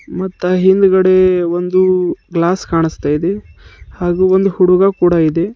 ಮತ್ ಆ ಹಿಂದುಗಡೆ ಒಂದು ಗ್ಲಾಸ್ ಕಾಣಿಸ್ತಾ ಇದೆ ಹಾಗೂ ಒಂದು ಹುಡುಗ ಕೂಡ ಇದೆ.